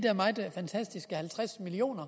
fantastiske halvtreds million